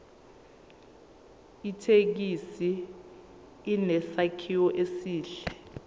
ithekisi inesakhiwo esihle